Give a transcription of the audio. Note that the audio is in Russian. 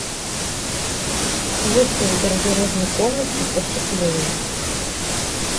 выставь в гардеробной комнате потеплее